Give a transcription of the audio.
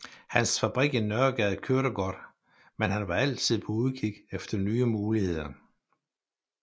Hans fabrik i Nørregade kørte godt men han var altid på udkig efter nye muligheder